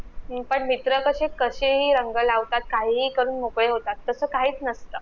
हम्म पण मित्र कशे कशेही रंग लावतात काहीही करून मोकळे होतात तस काहीच नसतं